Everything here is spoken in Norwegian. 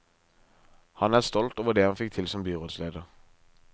Han er stolt over det han fikk til som byrådsleder.